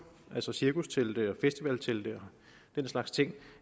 altså cirkustelte festivaltelte og den slags ting